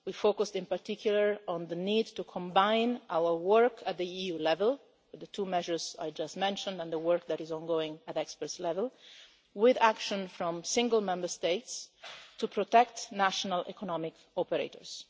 We focused in particular on the need to combine our work at EU level, with the two measures I just mentioned and the work that is ongoing at the expert level, with action from single Member States to protect national economic operators.